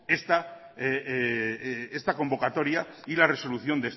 esta convocatoria y la resolución